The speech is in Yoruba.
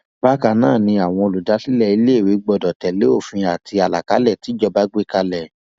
bákan náà ni àwọn olùdásílẹ iléèwé gbọdọ tẹlé òfin àti àlàkálẹ tíjọba gbé kalẹ